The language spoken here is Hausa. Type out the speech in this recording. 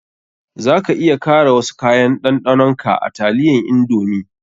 Za ka iya kara wasu kayan ɗanɗanon ka a taliyan indomie.